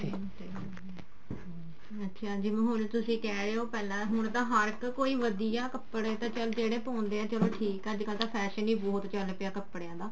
ਅੱਛਿਆ ਜਿਵੇਂ ਹੁਣ ਤੁਸੀਂ ਕਹਿ ਰਹੇ ਹੋ ਹੁਣ ਤਾਂ ਹਰ ਇੱਕ ਕੋਈ ਵਧੀਆ ਕੱਪੜੇ ਤਾਂ ਚੱਲ ਜਿਹੜੇ ਪਾਉਂਦੇ ਆ ਠੀਕ ਆ ਅੱਜਕਲ ਤਾਂ fashion ਹੀ ਬਹੁਤ ਚੱਲ ਪਿਆ ਕੱਪੜਿਆ ਦਾ